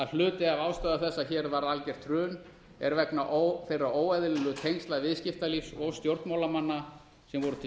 hluti af ástæðu þess að hér varð algert hrun er vegna þeirra óeðlilegu tengsla viðskiptalífs og stjórnmálamanna sem voru til